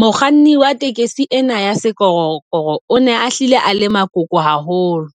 Mokganni wa taxi ena ya sekorokoro o ne a hlile a le makoko haholo.